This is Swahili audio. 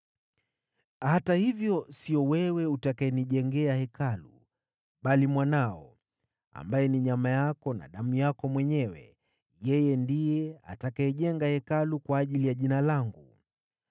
Hata hivyo, sio wewe utakayenijengea Hekalu, bali mwanao, ambaye ni nyama yako na damu yako mwenyewe, yeye ndiye atakayejenga Hekalu kwa ajili ya Jina langu.’